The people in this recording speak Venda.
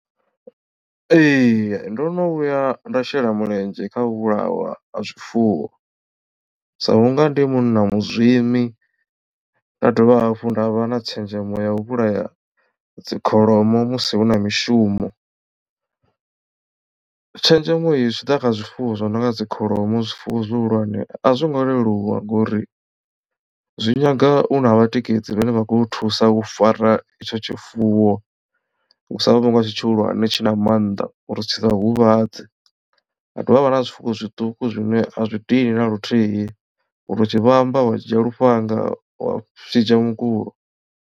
Ee ndo no vhuya nda shela mulenzhe kha u vhulawa ha zwifuwo sa vhunga ndi munna muzwimi nda dovha hafhu nda vha na tshenzhemo ya u vhulaya dzi kholomo musi hu na mishumo. Tshenzhemo iyi zwi tshi ḓa kha zwifuwo zwi no nga dzi kholomo zwifuwo zwihulwane a zwo ngo leluwa ngori zwi nyaga u na vhatikedzi vhane vha khou thusa u fara itsho tshifuwo vhu nga tshi tshihulwane tshi na mannḓa uri tshi sa u huvhadze ha dovha ha vha na zwifuwo zwiṱuku zwine a zwi dini na luthihi uri tshi vhamba wa dzhia lufhanga wa tshi shidzha mukulo.